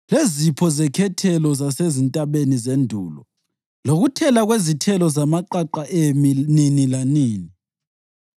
lezipho zekhethelo zasezintabeni zendulo lokuthela kwezithelo zamaqaqa emi nini lanini;